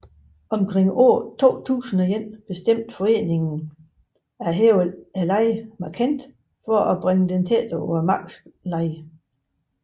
Omkring år 2001 bestemte foreningen at hæve lejen markant for at bringe den tættere til markedslejen